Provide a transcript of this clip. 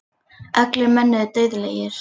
Allir menn eru dauðlegir.